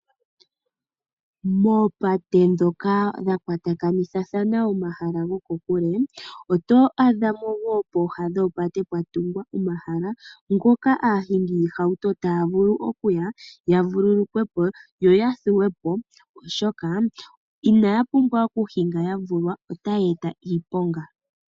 Moopate dhoka dhakwatakanithathana omahala gokokule oto adhamo woo pooha dhopate pwatungwa omahala ngoka aahingi yiihauto taya vulu okuya ya vululukwepo yo yathuwepo, oshoka inaya pumbwa oku hinga yavulwa otaya eta iiponga